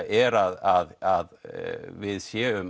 er að við séum